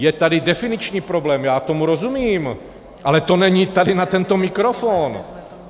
Je tady definiční problém, já tomu rozumím, ale to není tady na tento mikrofon!